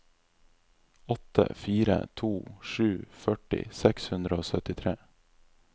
åtte fire to sju førti seks hundre og syttitre